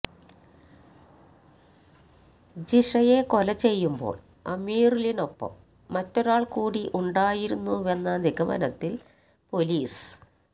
ജിഷയെ കൊലചെയ്യുമ്പോൾ അമീറുലിനൊപ്പം മറ്റൊരാൾ കൂടി ഉണ്ടായിരുന്നുവെന്ന നിഗമനത്തിൽ പൊലീസ്